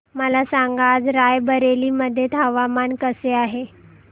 मला सांगा आज राय बरेली मध्ये हवामान कसे आहे